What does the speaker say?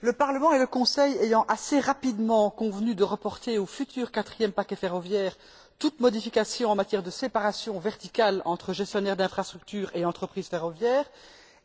Monsieur le Président, le Parlement et le Conseil ayant assez rapidement convenu de reporter au futur quatrième paquet ferroviaire toute modification en matière de séparation verticale entre gestionnaires d'infrastructures et entreprises ferroviaires